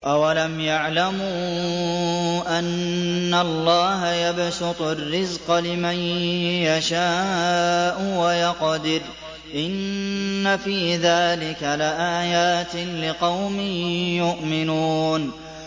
أَوَلَمْ يَعْلَمُوا أَنَّ اللَّهَ يَبْسُطُ الرِّزْقَ لِمَن يَشَاءُ وَيَقْدِرُ ۚ إِنَّ فِي ذَٰلِكَ لَآيَاتٍ لِّقَوْمٍ يُؤْمِنُونَ